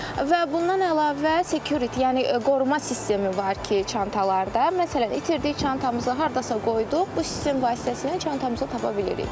Və bundan əlavə security, yəni qoruma sistemi var ki, çantalarda, məsələn, itirdik çantamızı hardasa qoyduq, bu sistem vasitəsilə çantamızı tapa bilirik.